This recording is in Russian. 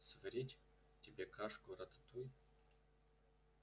сварить тебе кашку-рататуй